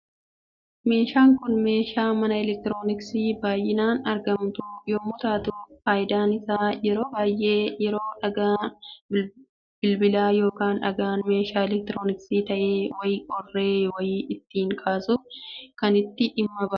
Meeshaan Kun, meeshaa mana eleektirooniksiitti baayyinaan argamtu yemmuu taatu, fayidaan isaa yeroo baayyee yeroo dhagaan bilbilaa yookaan dhagaan meeshaa eleektirooniksii ta'e wayii qorre wayii ittiin kaasuuf kan itti dhimma baanudha.